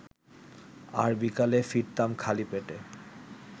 আর বিকালে ফিরতাম খালি পেটে